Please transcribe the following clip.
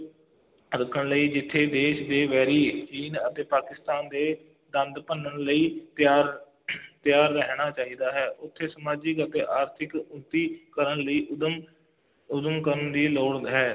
ਰੱਖਣ ਲਈ ਜਿੱਥੇ ਦੇਸ਼ ਦੇ ਵੈਰੀ ਚੀਨ ਅਤੇ ਪਾਕਿਸਤਾਨ ਦੇ ਦੰਦ ਭੰਨਣ ਲਈ ਤਿਆਰ ਤਿਆਰ ਰਹਿਣਾ ਚਾਹੀਦਾ ਹੈ, ਉੱਥੇ ਸਮਾਜਿਕ ਅਤੇ ਆਰਥਿਕ ਉੱਨਤੀ ਕਰਨ ਲਈ ਉੱਦਮ ਉੱਦਮ ਕਰਨ ਦੀ ਲੋੜ ਹੈ,